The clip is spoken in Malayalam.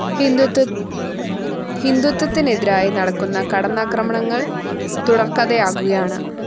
ഹിന്ദുത്വത്തിനെതിരായി നടക്കുന്ന കടന്നാക്രമണങ്ങള്‍ തുടര്‍ക്കഥയാകുകയാണ്‌